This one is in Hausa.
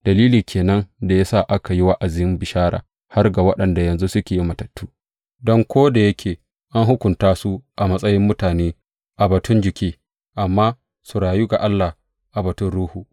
Dalilin ke nan da ya sa aka yi wa’azin bishara har ga waɗanda yanzu suke mutattu, don ko da yake an hukunta su a matsayin mutane a batun jiki, amma su rayu ga Allah a batun ruhu.